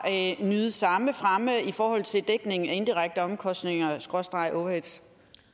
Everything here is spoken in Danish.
nyde samme fremme i forhold til dækning af indirekte omkostninger skråstreg overhead